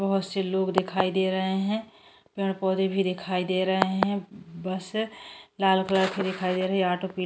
बहुत से लोग दिखाई दे रहे हैं पेड़ पौधे भी दिखाई दे रहे हैं बस लाल कलर के दिखाई दे रहे हैं आटो प --